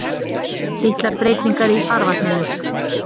Litlar breytingar í farvatninu